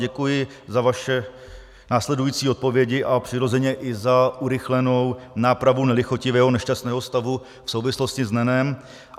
Děkuji za vaše následující odpovědi a přirozeně i za urychlenou nápravu nelichotivého, nešťastného stavu v souvislosti s NEN.